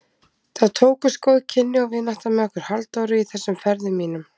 Það tókust góð kynni og vinátta með okkur Halldóri í þessum ferðum mínum.